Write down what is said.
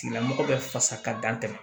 Tigilamɔgɔ bɛ fasa ka dan tɛmɛ